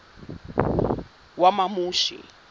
wamamushi